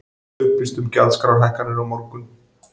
Upplýst um gjaldskrárhækkanir á morgun